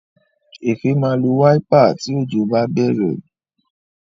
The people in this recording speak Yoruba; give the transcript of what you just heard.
Efe má lọ Wáípà tí Òjò bá bèrè.